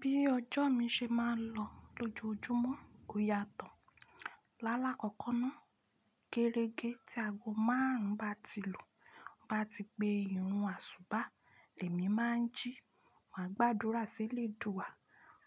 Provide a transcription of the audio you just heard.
Bí ọjọ́ mi ṣe máa ń lọ lójoojúmọ́ kò yàtọ̀. Lálá kọ̀kan náà, gérege tí ago márùn-ún bá ti lù, mo bá ti pe irun àsùbá, èémí máa ń jí, màá gbàdúrà sí Elédùrà,